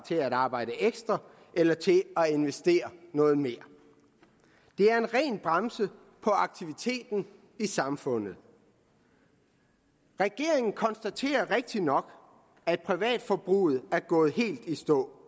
til at arbejde ekstra eller til at investere noget mere det er en ren bremse på aktiviteten i samfundet regeringen konstaterer rigtigt nok at privatforbruget er gået helt i stå